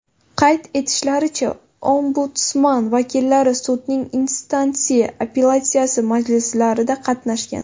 Qayd etishlaricha, Ombudsman vakillari sudning instansiya apellyatsiyasi majlislarida qatnashgan.